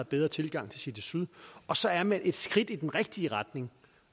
bedre tilgang til city syd og så er man et skridt i den rigtige retning